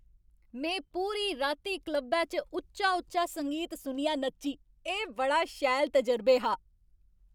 में पूरी राती क्लबै च उच्चा उच्चा संगीत सुनियै नच्ची। एह् बड़ा शैल तजुर्बे हा।